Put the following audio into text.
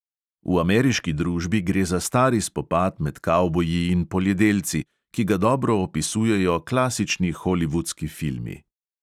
V ameriški družbi gre za stari spopad med kavboji in poljedelci, ki ga dobro opisujejo klasični holivudski filmi.